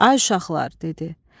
Ay uşaqlar, dedi.